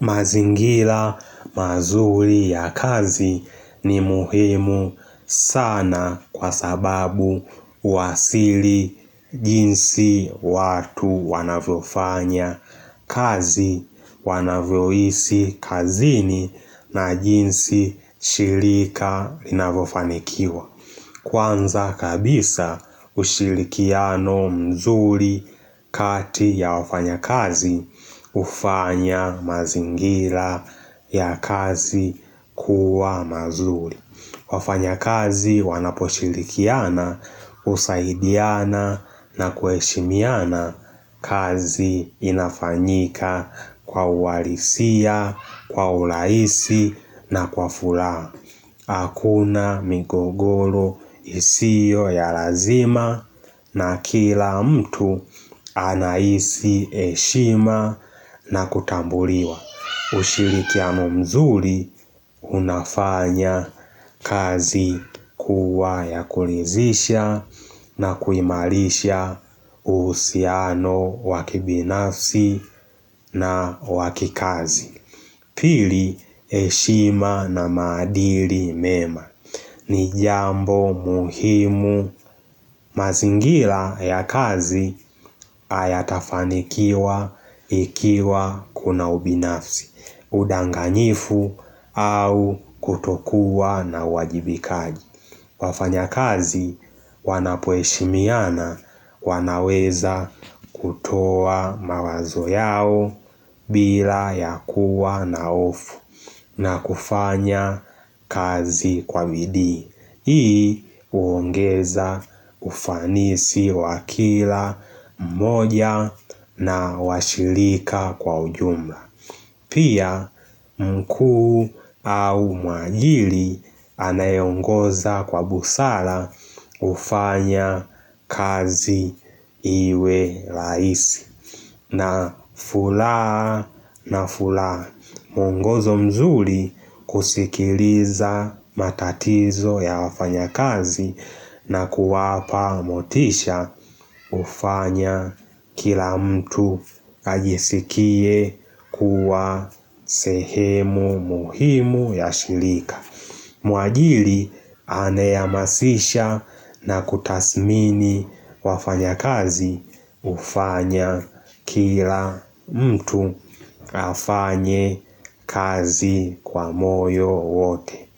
Mazingira mazuri ya kazi ni muhimu sana kwa sababu huwasili jinsi watu wanavyofanya kazi, wanavyoisi kazini na jinsi shilika linavyofanikiwa. Kwanza kabisa usilikiano mzuri kati ya wafanyakazi ufanya mazingira ya kazi kuwa mazuri wafanyakazi wanaposhilikiana usaidiana na kueshimiana kazi inafanyika kwa uwalisia, kwa urahisi na kwa furaha Hakuna migogoro isio ya lazima na kila mtu anahisi heshima na kutambuliwa. Ushirikiano mzuri unafanya kazi kuwa ya kulithisha na kuimalisha uhusiano wakibinafsi na wakikazi. Pili heshima na madili mema. Ni jambo muhimu. Mazingira ya kazi hayatafanikiwa ikiwa kuna ubinafsi. Udanganifu au kutokuwa na uwajibikaji. Wafanya kazi wanapo heshimiana wanaweza kutoa mawazo yao bila ya kuwa na hofu na kufanya kazi kwa bidii Hii huongeza ufanisi wakila mmoja na washilika kwa ujumla Pia mkuu au mwajili anayongoza kwa busara ufanya kazi iwe rahisi na furaha na furaha mungozo mzuri kusikiliza matatizo ya wafanya kazi na kuwapa motisha ufanya kila mtu ajisikie kuwa sehemu muhimu ya shilika Mwajili aneyehamasisha na kutasmini wafanyakazi hufanya kila mtu afanye kazi kwa moyo wote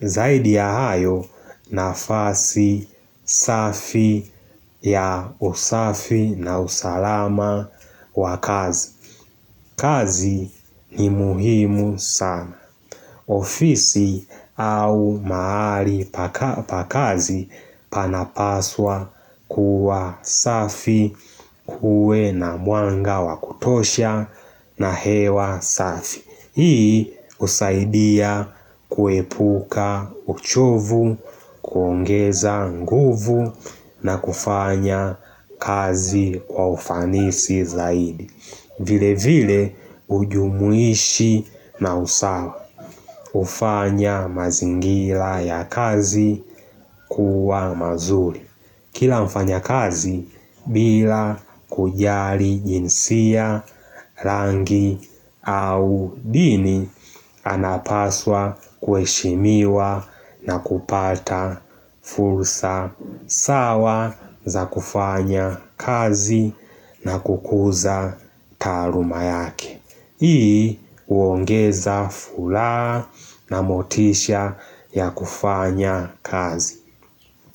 Zaidi ya hayo nafasi safi ya usafi na usalama wa kazi. Kazi ni muhimu sana. Ofisi au mahali pa kazi panapaswa kuwa safi kuwe na mwanga wakutosha na hewa safi. Hii husaidia kuepuka uchovu, kuongeza nguvu na kufanya kazi jwa ufanisi zaidi vile vile ujumuishi na usawa ufanya mazingila ya kazi kuwa mazuri Kila mfanya kazi bila kujari jinsia rangi au dini anapaswa kuheshimiwa na kupata fursa sawa za kufanya kazi na kukuza taluma yake Hii huongeza furaha na motisha ya kufanya kazi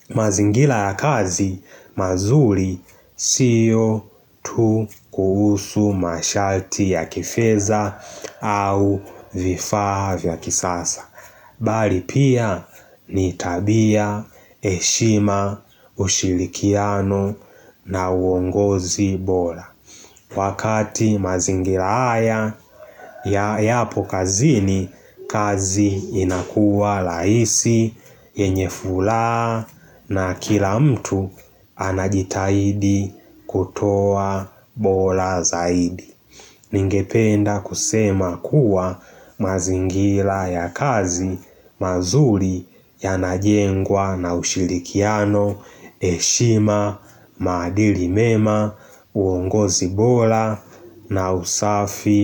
mazingila ya kazi mazuri siyo tu kuhusu mashati ya kifedha au vifaa vya kisasa. Bali pia ni tabia, heshima, ushilikiano na uongozi bora. Wakati mazingira haya ya yapo kazini, kazi inakuwa rahisi, yenye furaha na kila mtu anajitahidi kutoa bora zaidi. Ningependa kusema kuwa mazingila ya kazi mazuri yanajengwa na ushilikiano, heshima, maadili mema, uongozi bora na usafi.